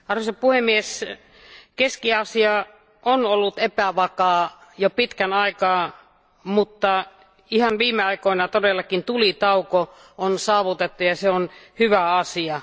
Arvoisa puhemies, Keski Afrikka on ollut epävakaa jo pitkän aikaa, mutta ihan viime aikoina todellakin tulitauko on saavutettu ja se on hyvä asia.